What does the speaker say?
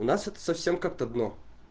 у нас это совсем как-то дно